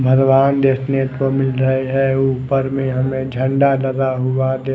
भगवान देखने को मिल रहे है ऊपर में हमे झंडा लगा हुआ दे--